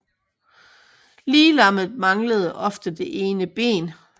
Liglammet manglede ofte det ene ben